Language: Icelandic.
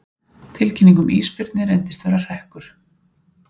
Tilkynning um ísbirni reyndist vera hrekkur